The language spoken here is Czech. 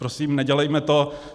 Prosím nedělejme to.